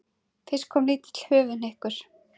Fyrst kom lítill höfuðhnykkur.